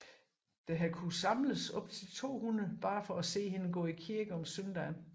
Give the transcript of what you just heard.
Der har kunnet samles op til 200 blot for at se hende gå i kirke om søndagen